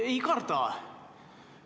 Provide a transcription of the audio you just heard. Ei karda!